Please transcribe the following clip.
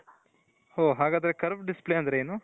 ಓ ಹಾಗಾದರೆ curve display ಅಂದ್ರೆ ಏನು ?